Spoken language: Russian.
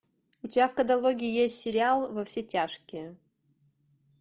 у тебя в каталоге есть сериал во все тяжкие